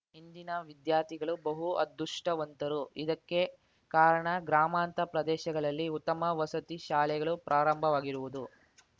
ಇಂದಿನ ವಿದ್ಯಾರ್ಥಿಗಳು ಬಹು ಅದೃಷ್ಟವಂತರು ಇದಕ್ಕೆ ಕಾರಣ ಗ್ರಾಮಾಂತ ಪ್ರದೇಶಗಳಲ್ಲಿ ಉತ್ತಮ ವಸತಿ ಶಾಲೆಗಳು ಪ್ರಾರಂಭವಾಗಿರುವುದು